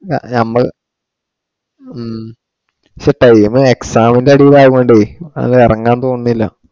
ഞമ്മള് ഹും പക്ഷെ time exam ഒക്കെ അടിപൊളി ആവുണ്ടേ. അങ്ങിനെ ഇറങ്ങാൻ തോന്നുന്നില്ല